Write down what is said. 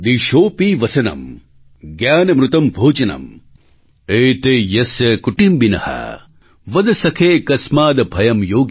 एते यस्य कुटिम्बिनः वद सखे कस्माद् भयं योगिनः